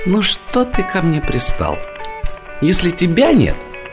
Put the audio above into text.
ну что ты ко мне пристал если тебя нет